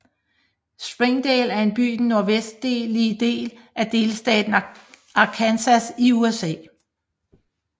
Springdale er en by i den nordvestlige del af delstaten Arkansas i USA